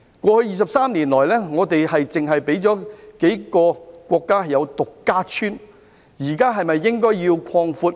過去23年來，我們只讓數個國家"獨家村"，現時是否應該擴闊？